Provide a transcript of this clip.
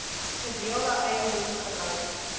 gedeelde eiendom gelyk